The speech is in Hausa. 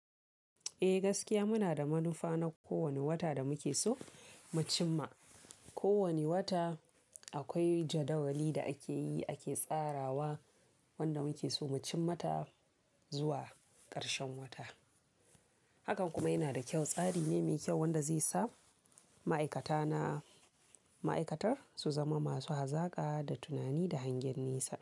Eh gaskiya muna da manufa na kowane wata da muke so mu cim ma. Ko wane wata akwai jadawali da akeyi ake tsarawa wanda muke so mu cim mata zuwa karshen wata. Hakan kuma yana da kyau, tsari ne mai kyau wanda zai sa ma'aikata na, ma'aikatar su zama masu hazaƙa da tunani da hangen nesa.